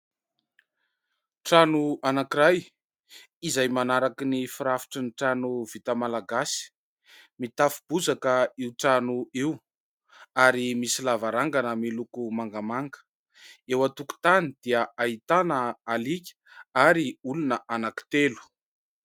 Trano anankiray izay manaraka ny firafitry ny trano vita malagasy. Mitafo bozaka io trano io ary misy lavarangana miloko mangamanga. Eo an-tokotany dia ahitana aliaka ary olona anankitelo.